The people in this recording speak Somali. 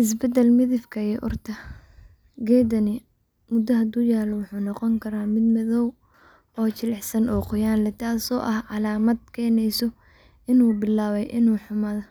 isbedel midabka iyo uurta, geedkani mudda haduu yaalo wuxuu noqon karaa mid jilisan oo qoyaan leh waa calaamad keeneyso inuu bilaabay inuu xumaado,